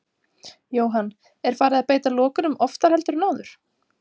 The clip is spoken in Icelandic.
Jóhann: Er farið að beita lokunum oftar heldur en áður?